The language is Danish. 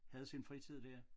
Havde sin fritid dér